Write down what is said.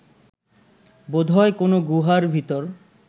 বোধহয় কোনো গুহার ভেতর